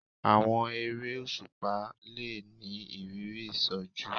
Àwọn eré òṣùpá le ni ìrírí ìṣojú